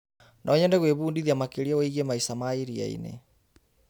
No nyende gwĩbundithia makĩria wĩgiĩ maica ma iria-inĩ.